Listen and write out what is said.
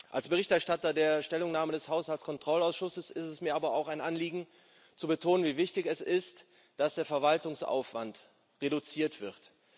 Als Berichterstatter der Stellungnahme des Haushaltskontrollausschusses ist es mir aber auch ein Anliegen zu betonen, wie wichtig es ist, dass der Verwaltungsaufwand reduziert wird.